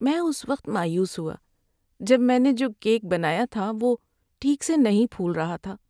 میں اس وقت مایوس ہوا جب میں نے جو کیک بنایا تھا وہ ٹھیک سے نہیں پھول رہا تھا۔